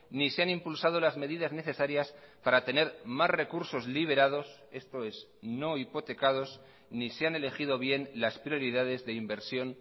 ni se han impulsado las medidas necesarias para tener más recursos liberados esto es no hipotecados ni se han elegido bien las prioridades de inversión